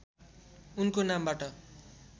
उनको नामबाट